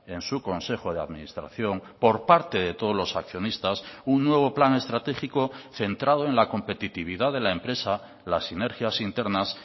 en su consejo de administración por parte de todos los accionistas un nuevo plan estratégico centrado en la competitividad de la empresa las sinergias internas